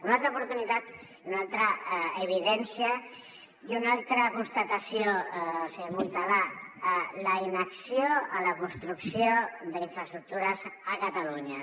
una altra oportunitat i una altra evidència i una altra constatació senyor montalà la inacció en la construcció d’infraestructures a catalunya